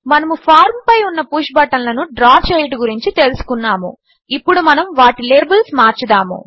మనము ఫార్మ్ పై పుష్ బటన్లను డ్రా చేయుట గురించి తెలుసుకున్నాము ఇప్పుడు మనము వాటి లేబిల్స్ మార్చుదాము